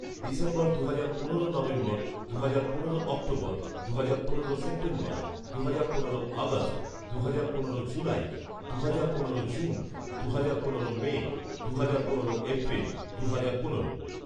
December দুহাজার পনেরো নভেম্বর দুহাজার পনেরো অক্টোবর দুহাজার পনেরো সেপ্টেম্বর দুহাজার পনেরো আগস্ট দুহাজার পনেরো জুলাই দুহাজার পনেরো জুন দুহাজার পনেরো মে দুহাজার পনেরো এপ্রিল দুহাজার পনেরো